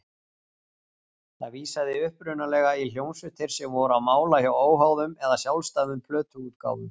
Það vísaði upprunalega í hljómsveitir sem voru á mála hjá óháðum eða sjálfstæðum plötuútgáfum.